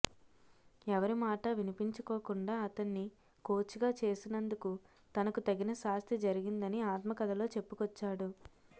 ఎవరి మాట వినిపించుకోకుండా అతన్ని కోచ్గా చేసినందుకు తనకు తగిన శాస్తి జరిగిందని ఆత్మకథలో చెప్పుకొచ్చాడు